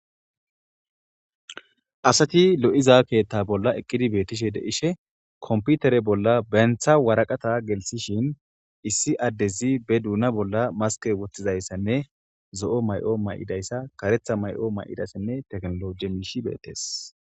Asati lo7iza keethta bolla eqqidi beettishe deishe komputere bolla bentha waraqata gelsishin issi addezi be duuna bolla maske wottizayssenne zo7o may7o may7idayssa karetha may7o may7idassenne teknolo jemiishi beettees.